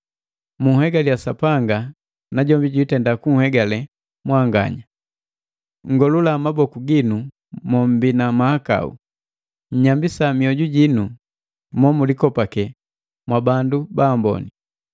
Munhegaliya Sapanga, najombi janhegaliya mwanganya. Nngolula maboku ginu mommbi na mahakau! Nnyambisika mioju jinu mo mulikopake mwabandu baamboni!